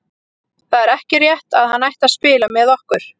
Það er ekki rétt að hann ætti að spila með okkur.